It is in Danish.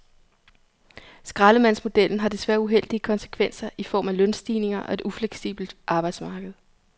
Skraldemandsmodellen har desværre uheldige konsekvenser i form af lønstigninger og et ufleksibelt arbejdsmarked.